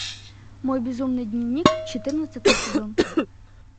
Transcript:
мой безумный дневник четырнадцатый сезон